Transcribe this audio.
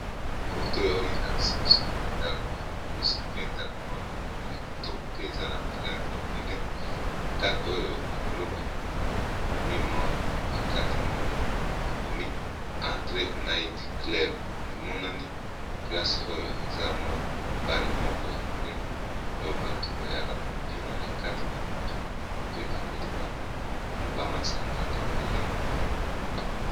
Foto oyo elakisi biso mwa ndako ya mokuse pe ndako oyo ya kitoko pe eza na ba langi epayi ebele ndako oyo likolo bakomi mwa pakarte moko bakomi entre night club emonani place oyo eza mwa bare moko ya monene oyo bato bayaka kobina na kati na butu pe bameli bamasanga ebele